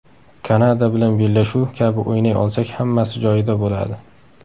Kanada bilan bellashuv kabi o‘ynay olsak, hammasi joyida bo‘ladi.